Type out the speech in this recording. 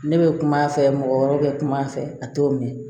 Ne bɛ kum'a fɛ mɔgɔ wɛrɛ bɛ kuma a fɛ a t'o mɛn